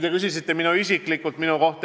Te küsisite ka isiklikult minu kohta.